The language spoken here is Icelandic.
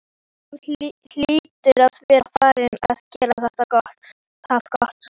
Þú hlýtur að vera farinn að gera það gott!